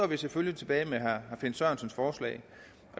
vi selvfølgelig tilbage med herre finn sørensens forslag